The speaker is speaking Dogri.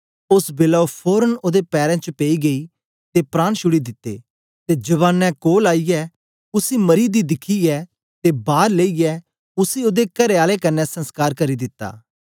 ओस बेलै ओ फोरन ओदे पैरें च पेई गई ते प्राण छुड़ी दिते ते जवानें कोल आईयै उसी मरीदियें गी दिखया ते बार लेईयै उसी ओदे करेआले कन्ने संसकार करी दिता